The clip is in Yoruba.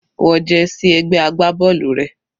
Wọ jersey ẹgbẹ́ agbábọ́ọ̀lù rẹ.